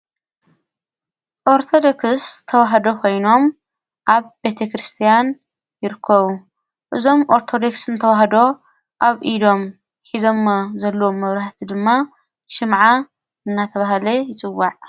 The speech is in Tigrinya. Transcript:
ኦርተደክስ ተዉሃዶ ኾይኖም ኣብ ቤተ ክርስቲያን ይርኮዉ እዞም ኣርተዴክስን ተዉሃዶ ኣብ ኢዶም ኂዞሞ ዘለዎም መብርህቲ ድማ ሽምዓ እናተብሃለ ይጽዋዕ፡፡